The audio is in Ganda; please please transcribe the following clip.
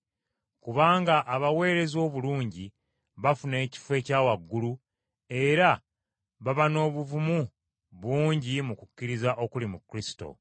Kubanga abaweereza obulungi bafuna ekifo ekya waggulu era baba n’obuvumu bungi mu kukkiriza okuli mu Kristo.